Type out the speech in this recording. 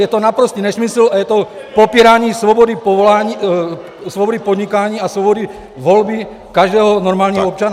Je to naprostý nesmysl a je to popírání svobody podnikání a svobody volby každého normálního občana.